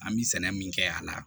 An bɛ sɛnɛ min kɛ a la